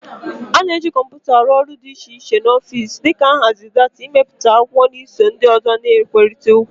A na-eji kọmpụta arụ ọrụ dị iche iche n'ọfịs, dị ka nhazi data, imepụta akwụkwọ, na iso ndị ọzọ na-ekwurịta okwu.